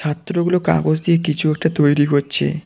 ছাত্রগুলো কাগজ দিয়ে কিছু একটা তৈরি করছে।